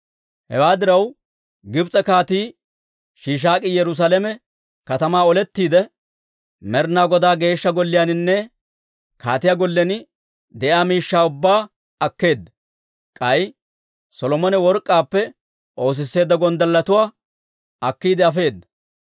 Hewaa diraw, Gibs'e Kaatii Shiishaak'i Yerusaalame katamaa olettiide, Med'inaa Godaa Geeshsha Golliyaaninne kaatiyaa gollen de'iyaa miishshaa ubbaa akkeedda. K'ay Solomone work'k'aappe oosisseedda gonddalletuwaakka akkiide afeedda.